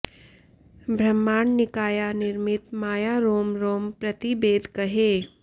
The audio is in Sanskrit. ब्रह्मांड निकाया निर्मित माया रोम रोम प्रति बेद कहै